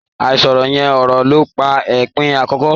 Àìsọ̀rọ̀ yán ọ̀rọ̀ ló pa Eléèpé àkọ́kọ́.